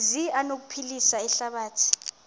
zi anokuphilisa ihlabathi